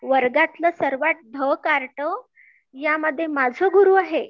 वर्गातल सर्वात ढ कार्ट, या मध्ये माझ गुरु आहे